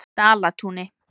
Dalatúni